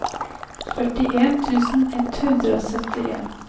førtien tusen ett hundre og syttien